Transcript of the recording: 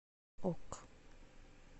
ок